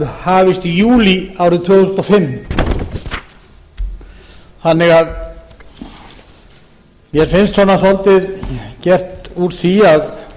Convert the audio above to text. hafist í júlí árið tvö þúsund og fimm mér finnst því fullmikið gert úr því að